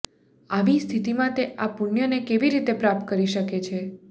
આવી સ્થિતિમાં તે આ પુણ્યને કેવી રીતે પ્રાપ્ત કરી શકે છે